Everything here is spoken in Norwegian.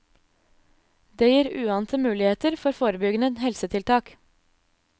Det gir uante muligheter for forebyggende helsetiltak.